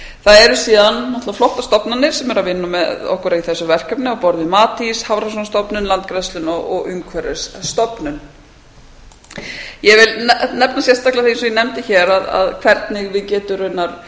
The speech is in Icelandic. það er síðan náttúrlega flottar stofnanir sem eru að vinna með okkur í þessu verkefni á borð við matís hafrannsóknastofnun landgræðsluna og umhverfisstofnun ég vil nefna sérstaklega því eins og ég nefndi hér hvernig við getum raunar